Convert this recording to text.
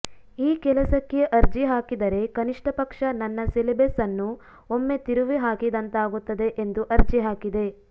ಈ ಕೆಲಸಕ್ಕೆ ಅರ್ಜಿ ಹಾಕಿದರೆ ಕನಿಷ್ಠಪಕ್ಷ ನನ್ನ ಸಿಲೆಬಸ್ ಅನ್ನು ಒಮ್ಮೆ ತಿರುವಿಹಾಕಿದಂತಾಗುತ್ತದೆ ಎಂದು ಅರ್ಜಿ ಹಾಕಿದೆ